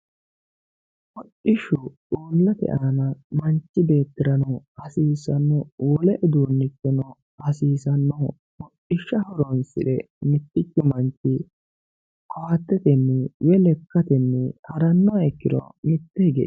hodhishshu uullate aana manchi beettirano hasiisanno wole uduunneno hasiisannoho hodhishsha horonsire mittichu manchi koattetenni woyi lekkatenni harannoha ikkiro mitte hige.